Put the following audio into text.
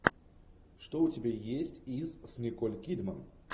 что у тебя есть из с николь кидман